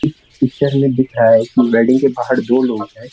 इस पिक्चर में दिख रहा है कि वेडिंग के बाहर दो लोग हैं।